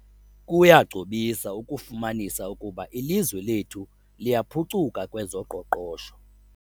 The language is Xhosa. Kuyagcobisa ukufumanisa ukuba ilizwe lethu liyaphucuka kwezoqoqosho.